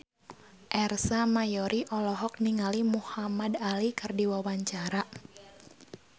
Ersa Mayori olohok ningali Muhamad Ali keur diwawancara